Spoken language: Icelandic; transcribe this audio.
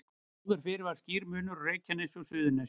Áður fyrr var skýr munur á Reykjanesi og Suðurnesjum.